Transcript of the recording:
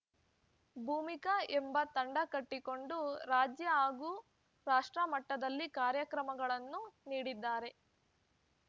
ಭೂಮಿಕ ಎಂಬ ತಂಡ ಕಟ್ಟಿಕೊಂಡು ರಾಜ್ಯ ಹಾಗೂ ರಾಷ್ಟ್ರ ಮಟ್ಟದಲ್ಲಿ ಕಾರ್ಯಕ್ರಮಗಳನ್ನು ನೀಡಿದ್ದಾರೆ